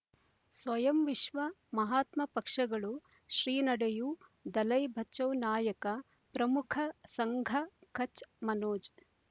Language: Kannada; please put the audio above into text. ಸ್ವಯಂ ವಿಶ್ವ ಮಹಾತ್ಮ ಪಕ್ಷಗಳು ಶ್ರೀ ನಡೆಯೂ ದಲೈ ಬಚೌ ನಾಯಕ ಪ್ರಮುಖ ಸಂಘ ಕಚ್ ಮನೋಜ್